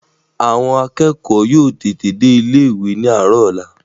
Ṣé àwọn akẹ́kọ̀ọ́ náà yóò tètè dé ilé-ìwé ní àárọ̀ ọ̀la?